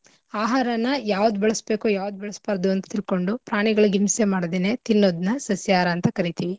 ಆಹಾರನ ಯಾವ್ದು ಬೆಳಸ್ಬೇಕು ಯಾವ್ದ್ ಬೆಳಸ್ಬಾರ್ದು ಅಂತ ತಿಳ್ಕೊಂದು ಪಾಣಿಗಳಿಗ್ ಹಿಂಸೆ ಮಾಡ್ದೆನೆ ತಿನ್ನೋದ್ನ ಸಸ್ಯಾಹಾರ ಅಂತ ಕರಿತಿವಿ.